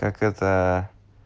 так это